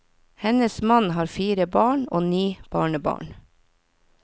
Hennes mann har fire barn og ni barnebarn.